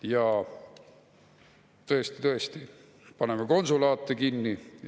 Ja tõesti-tõesti, paneme konsulaate kinni.